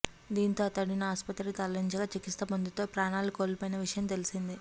దీంతో అతడిని ఆసుపత్రికి తరలించగా చికిత్స పొందుతూ ప్రాణాలు కోల్పోయిన విషయం తెలిసిందే